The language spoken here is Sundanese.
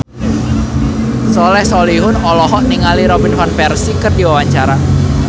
Soleh Solihun olohok ningali Robin Van Persie keur diwawancara